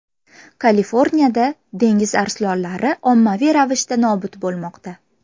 Kaliforniyada dengiz arslonlari ommaviy ravishda nobud bo‘lmoqda.